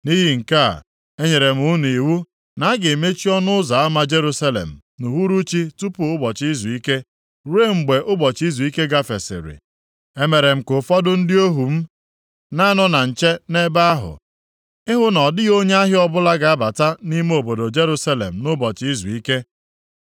Nʼihi nke a, enyere m iwu na a ga-emechi ọnụ ụzọ ama Jerusalem nʼuhuruchi tupu ụbọchị izuike, ruo mgbe ụbọchị izuike gafesịrị. Emere m ka ụfọdụ ndị ohu m na-anọ na nche nʼebe ahụ, ịhụ na ọ dịghị onye ahịa ọbụla ga-abata nʼime obodo Jerusalem nʼụbọchị izuike.